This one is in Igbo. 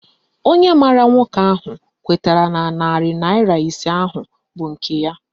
Onye maara nwoke ahụ kwetara na narị naịra ise ahụ bụ nke ya